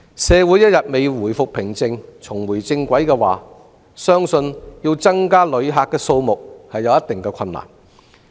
社會一天未回復平靜，重回正軌，相信要增加旅客的數目會有一定困難。